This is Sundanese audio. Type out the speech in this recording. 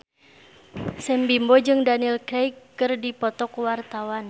Sam Bimbo jeung Daniel Craig keur dipoto ku wartawan